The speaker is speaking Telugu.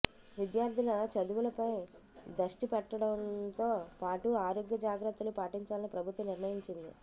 విద్యార్థుల చదువులపై దష్టి పెట్టడంతో పాటు ఆరోగ్య జాగ్రత్తలూ పాటించాలని ప్రభుత్వం నిర్ణయించింది